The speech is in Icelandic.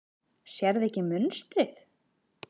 Sérðu ekki munstrið?